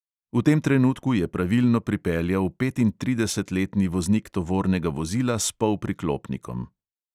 V tem trenutku je pravilno pripeljal petintridesetletni voznik tovornega vozila s polpriklopnikom.